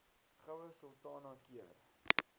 goue sultana keur